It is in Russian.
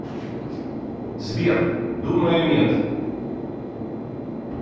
сбер думаю нет